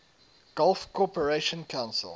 gulf cooperation council